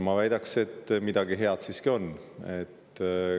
Ma väidaks, et midagi head siiski on.